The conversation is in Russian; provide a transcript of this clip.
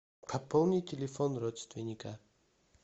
пополнить телефон родственника